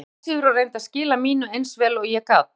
Ég var bara passífur og reyndi að skila mínu eins vel og ég gat.